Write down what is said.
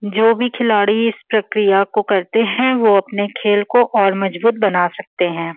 जो भी खिलाड़ी इस प्रक्रिया को करते हैं वो अपने खेल को और मजबूत बना सकते हैं|